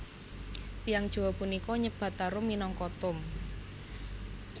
Tiyang Jawa punika nyebat tarum minangka tom